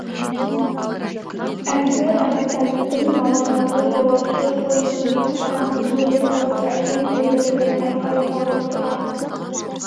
әлгі әбутәліптің балалары жолаушы пойыздың тоқтағанын көре салып әкем келді деп айқай салып тұра